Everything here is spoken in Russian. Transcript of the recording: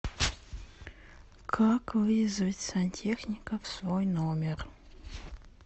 как вызвать сантехника в свой номер